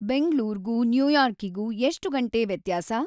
ಬೆಂಗ್ಳೂರ್ಗೂ ನೈಯಾರ್ಕಿಗೂ ಎಷ್ಟು ಗಂಟೆ ವ್ಯತ್ಯಾಸ